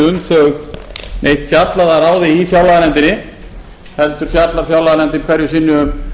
um þau neitt fjallað að ráði í fjárlaganefndinni heldur fjallar fjárlaganefndin hverju sinni um